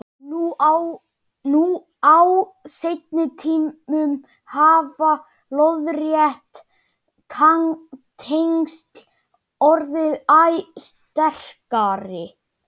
Nú á seinni tímum hafa lóðrétt tengsl orðið æ sterkari.